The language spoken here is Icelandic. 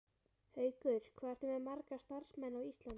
Haukur: Hvað ertu með marga starfsmenn á Íslandi?